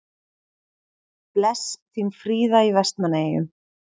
Bless, þín Fríða í Vestmannaeyjum